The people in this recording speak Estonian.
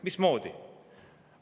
Mismoodi?